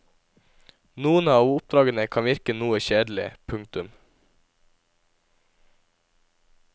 Noen av oppdragene kan virke noe kjedelige. punktum